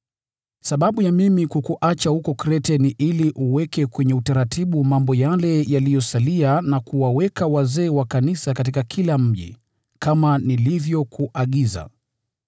Sababu ya mimi kukuacha huko Krete ni ili uweke utaratibu mambo yale yaliyosalia na kuwaweka wazee wa kanisa katika kila mji, kama nilivyokuagiza.